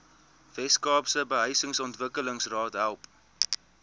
weskaapse behuisingsontwikkelingsraad help